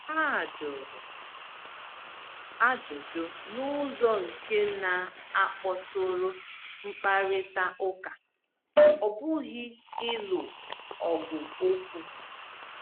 Ha jụrụ ajụjụ n’ụzọ nke na-akpọtụrụ mkparịta ụka, ọ bụghị ịlụ ọgụ okwu.